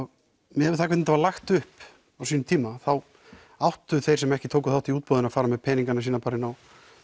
miðað við hvernig var lagt upp á sínum tíma þá áttu þeir sem ekki tóku þátt í útboðinu að fara með peningana sína bara inn á